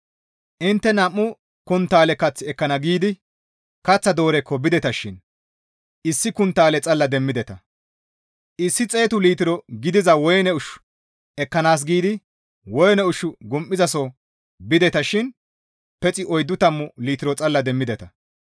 Intte nam7u konttaale kath ekkana giidi kaththa doorekko bideta shin issi konttaale xalla demmideta. Issi xeetu litiro gidiza woyne ushshu ekkanaas giidi woyne ushshu gum7izasoho bideta shin pexi oyddu tammu litiro xalla demmideta.